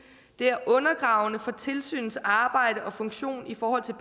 det er undergravende for tilsynets arbejde og funktion i forhold til